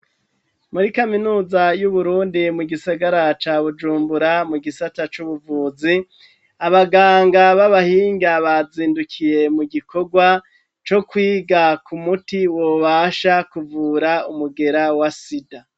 Muri kaminuza y'uburundi mu gisagara ca bujumbura mu gisata c'ubuvuzi ,abaganga b'abahinga bazindukiye mu gikorwa co kwiga ku muti wobasha kuvura umugera wa sida.